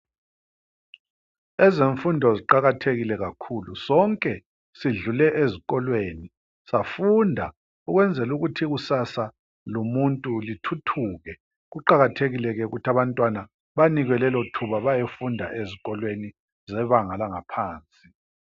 Ezemfundo ziqakathekile kakhulu sonke sidlule ezikolweni safunda ukwenzela ukuthi ikusasa lomuntu lithuthuke, kuqakathekile ke ukuthi abantwana banikwe lelothuba bayefunda ezikolweni zebanga langaphansi.